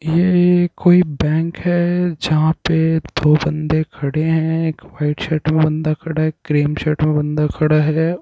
ये एक कोई बैंक है। जहां पे दो बंदे खड़े हैं एक वाइट शर्ट में बंदा खड़ा है एक क्रीम शर्ट में बंदा खड़ा है।